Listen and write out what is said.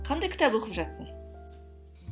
қандай кітап оқып жатырсың